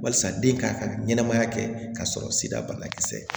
Walasa den ka ka ɲɛnɛmaya kɛ k'a sɔrɔ sida banakisɛ